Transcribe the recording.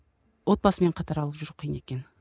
отбасымен қатар алып жүру қиын екен